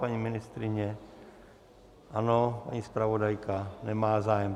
Paní ministryně ano, paní zpravodajka nemá zájem.